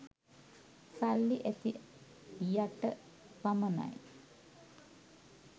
සල්ලි ඇති යට පමණයි